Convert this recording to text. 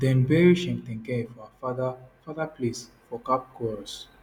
dem bury cheptegei for her father father place for kapkoros